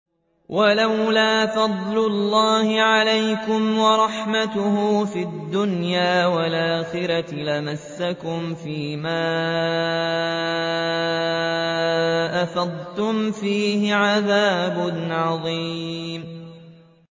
وَلَوْلَا فَضْلُ اللَّهِ عَلَيْكُمْ وَرَحْمَتُهُ فِي الدُّنْيَا وَالْآخِرَةِ لَمَسَّكُمْ فِي مَا أَفَضْتُمْ فِيهِ عَذَابٌ عَظِيمٌ